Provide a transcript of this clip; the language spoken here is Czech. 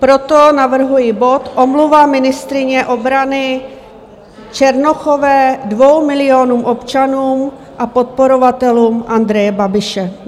Proto navrhuji bod Omluva ministryně obrany Černochové dvěma milionům občanům a podporovatelům Andreje Babiše.